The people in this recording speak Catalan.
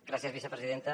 gràcies vicepresidenta